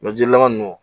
jilaman ninnu